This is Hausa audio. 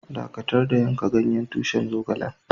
Dakatar da yanka ganyen tushin zogalen!